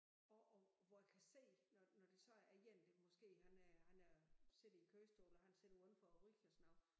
Og og hvor jeg kan se når når det så er en der måske han øh han øh sidder i kørestol og han sidder udenfor og ryger og sådan noget